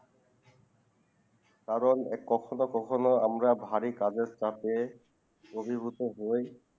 কারণ কখনো কখনো আমরা ভারী কাজে সাথে অভিভূত হয়